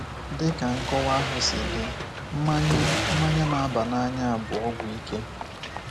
Dị ka nkọwa ahụ si dị, mmanya mmanya na-aba n’anya bụ ọgwụ ike.